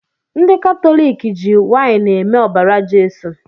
Ndi katọlịkị ji waịnị eme ọbara Jeso